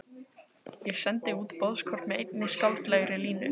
Ég sendi út boðskort með einni skáldlegri línu.